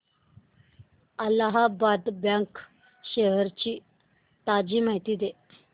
Allahabad bank shares ची ताजी माहिती दे